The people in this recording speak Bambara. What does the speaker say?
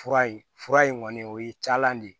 Fura ye fura in kɔni o ye caman de ye